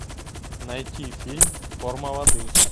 найти фильм форма воды